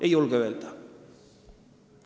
Ei julge öelda.